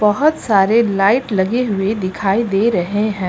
बहोत सारे लाइट लगे हुए दिखाई दे रहे हैं।